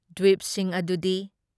ꯗ꯭ꯋꯤꯞꯁꯤꯡ ꯑꯗꯨꯗꯤ